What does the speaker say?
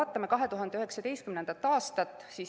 Vaatame 2019. aastat.